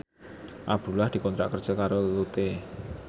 Abdullah dikontrak kerja karo Lotte